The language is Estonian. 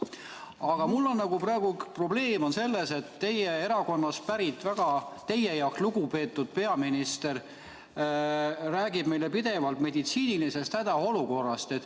" Aga mul on praegu probleem selles, et teie erakonnast pärit ja teie jaoks lugupeetud peaminister räägib meile pidevalt meditsiinilisest hädaolukorrast.